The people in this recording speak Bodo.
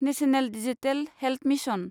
national digital health mission